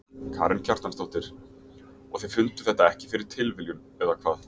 Karen Kjartansdóttir: Og þið funduð þetta ekki fyrir tilviljun eða hvað?